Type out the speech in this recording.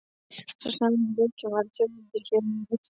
Sá sami og rekinn var af Þjóðviljanum hér um árið.